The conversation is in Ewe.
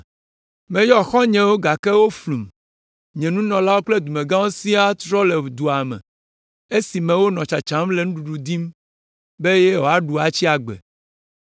“Meyɔ xɔ̃nyewo gake woflum. Nye nunɔlawo kple dumegãwo siaa tsrɔ̃ le dua me esime wonɔ tsatsam le nuɖuɖu dim be woaɖu atsi agbe.